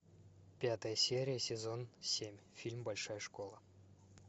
пятая серия сезон семь фильм большая школа